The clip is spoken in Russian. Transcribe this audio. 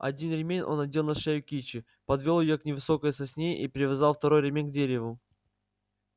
один ремень он надел на шею кичи подвёл её к невысокой сосне и привязал второй ремень к дереву